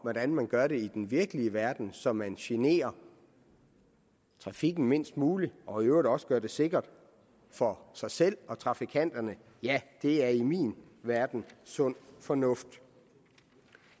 hvordan man gør det i den virkelige verden så man generer trafikken mindst muligt og i øvrigt også gør det sikkert for sig selv og trafikanterne det er i min verden sund fornuft